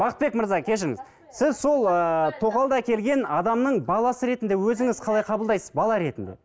бақытбек мырза кешіріңіз сіз сол ыыы тоқалды әкелген адамның баласы ретінде өзіңіз қалай қабылдайсыз бала ретінде